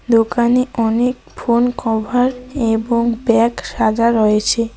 দোকানে অনেক phone cover এবং ব্যাগ সাজা রয়েছে।